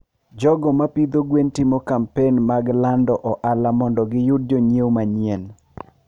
jogo ma pidho gwen timo kampen mag lando ohala mondo giyud jonyiewo manyien.